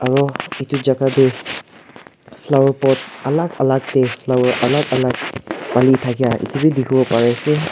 aro etu jaga tu flower pot alak alak de flower alak alak dali dakia etu b dikibo pari ase.